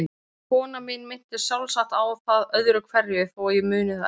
Konan mín minntist sjálfsagt á það öðru hverju þó ég muni það ekki.